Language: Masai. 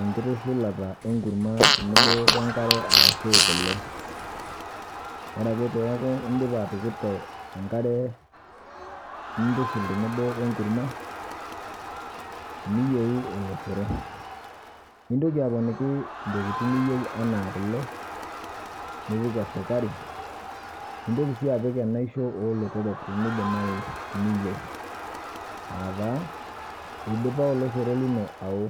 enkitushulata enkurama tenebo oenkare arashu kole. Oreake peaku indipa atukurto enkare nintushul tenebo oenkurma niyieru oloshoro, nintoki aponiki intokitin niyieu anaa kole, nipik esukari nintoki sii apik enaisho oolotorok teneidimayu niyou. Aataa eidipa oloshoro lino awo.